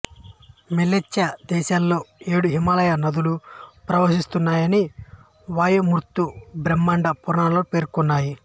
మ్లేచ్చ దేశాలలో ఏడు హిమాలయ నదులు ప్రవహిస్తున్నాయని వాయు మత్స్య బ్రహ్మండ పురాణాలు పేర్కొన్నాయి